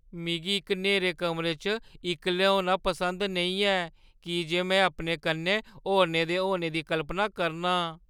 मिगी इक न्हेरे कमरे च इक्कले होना पसंद नेईं ऐ की जे में अपने कन्नै होरनें दे होने दी कल्पना करना आं।